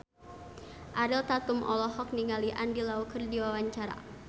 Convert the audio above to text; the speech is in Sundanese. Ariel Tatum olohok ningali Andy Lau keur diwawancara